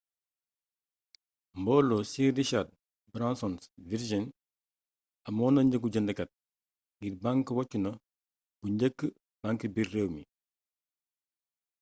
mboolo sir richard branson's virgin amonna njëgu jëndkat ngir bank woccuna bu njëkk bank biir réew mi